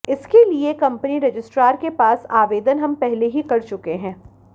इसके लिए company registrar के पास आवेदन हम पहले ही कर चुके हैं